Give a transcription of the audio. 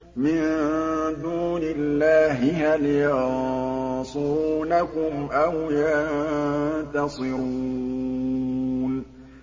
مِن دُونِ اللَّهِ هَلْ يَنصُرُونَكُمْ أَوْ يَنتَصِرُونَ